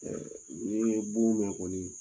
n'i ye bon mɛ kɔni